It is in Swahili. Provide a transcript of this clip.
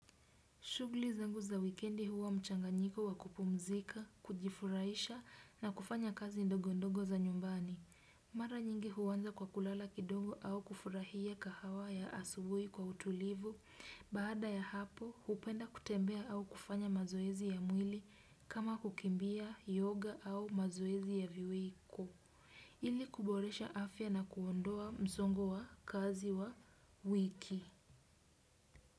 Shughuli zangu za wikendi huwa mchanganyiko wa kupumzika, kujifurahisha na kufanya kazi ndogo ndogo za nyumbani. Mara nyingi huanza kwa kulala kidogo au kufurahia kahawa ya asubuhi kwa utulivu. Baada ya hapo, hupenda kutembea au kufanya mazoezi ya mwili kama kukimbia yoga au mazoezi ya viwiko. Ili kuboresha afya na kuondoa msongo wa kazi wa wiki.